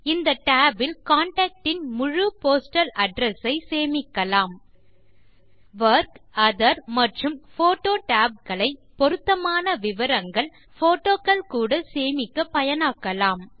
இந்த tab இல் contact இன் முழு போஸ்டல் அட்ரெஸ் ஐ சேமிக்கலாம் வொர்க் ஒத்தேர் மற்றும் போட்டோ tab களை பொருத்தமான விவரங்கள் போட்டோகள் கூட சேமிக்க பயனாக்கலாம்